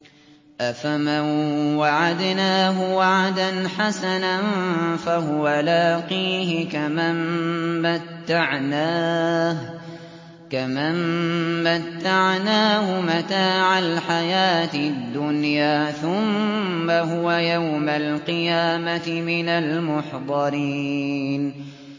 أَفَمَن وَعَدْنَاهُ وَعْدًا حَسَنًا فَهُوَ لَاقِيهِ كَمَن مَّتَّعْنَاهُ مَتَاعَ الْحَيَاةِ الدُّنْيَا ثُمَّ هُوَ يَوْمَ الْقِيَامَةِ مِنَ الْمُحْضَرِينَ